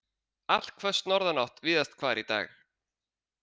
Allhvöss norðanátt víðast hvar í dag